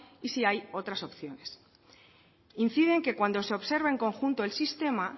y si hay otras opciones incide en que cuando se observa en conjunto el sistema